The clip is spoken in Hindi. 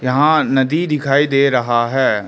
यहां नदी दिखाई दे रहा है।